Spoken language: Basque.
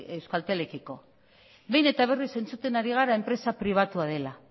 euskaltelekiko behin eta berriz entzuten ari gara enpresa pribatua dela